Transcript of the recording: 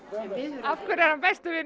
af hverju er hann besti vinur